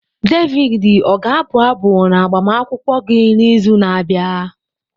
Davidi ọ ga-abụ abụ n'agbamakwụkwọ gị n'izu na-abịa?